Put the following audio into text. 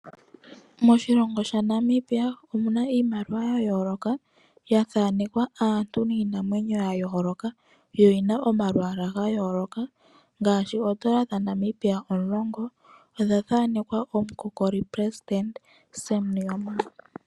Moshilongo shaNamibia omuna iimaliwa yayooloka. Yathanekwa aantu niinamwenyo yayooloka yo oyina omalwaala gayooloka. Ngaashi oondola dhaNambia omulongo odhathanekwa omukokoli pelesitende Sam Nuujoma.